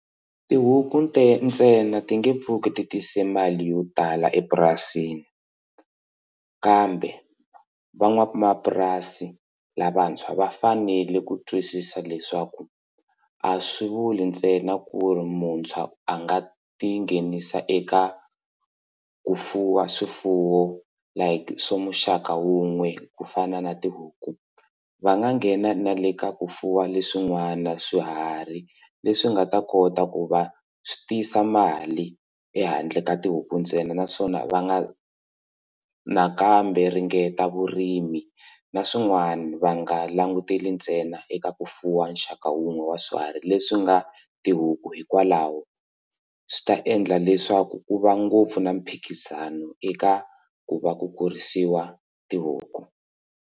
Tihuku ntsena ti nge pfuki ti tise mali yo tala epurasini kambe van'wamapurasi lavantshwa va fanele ku twisisa leswaku a swi vuli ntsena ku ri muntshwa a nga tinghenisa eka ku fuwa swifuwo like swa muxaka wun'we ku fana na tihuku va nga nghena na le ka ku fuwa leswin'wana swiharhi leswi nga ta kota ku va swi tiyisa mali ehandle ka tihuku ntsena naswona va nga nakambe ringeta vurimi na swin'wana va nga languteli ntsena eka ku fuwa nxaka wun'wana wa swiharhi leswi nga tihuku hikwalaho swi ta endla leswaku ku va ngopfu na miphikizano eka ku va ku kurisiwa tihuku.